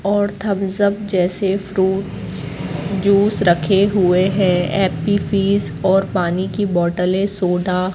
और Thums Up जैसे fruits juice रखे हुए हैं। एप्पी फीज और पानी की बॉटले सोडा --